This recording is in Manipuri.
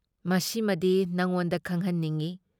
ꯃꯁꯤꯃꯗꯤ ꯅꯉꯣꯟꯗ ꯈꯪꯍꯟꯅꯤꯡꯢ ꯫